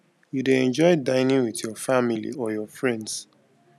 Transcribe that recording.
you dey enjoy dinning with your family or your friends